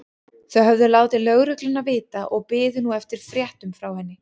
Þau höfðu látið lögregluna vita og biðu nú eftir fréttum frá henni.